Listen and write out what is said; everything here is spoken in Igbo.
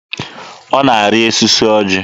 Ọ na-arị osisi ọjị?